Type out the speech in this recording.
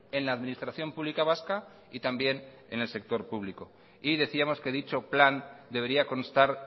en la administración pública vasca y también en el sector público y decíamos que dicho plan debería constar